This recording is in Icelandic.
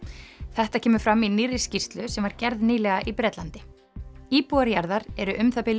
þetta kemur fram í nýrri skýrslu sem var gerð nýlega í Bretlandi íbúar jarðar eru um það bil